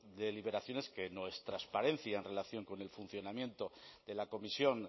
de las deliberaciones que no es transparencia en relación con el funcionamiento de la comisión